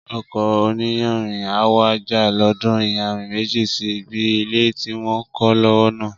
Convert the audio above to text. Ọkọ̀ oníyanrìn á wá já lóòdù iyanrìn méjì sí ibi ilé tí wọ́n ń kọ́ lọ́wọ́ náà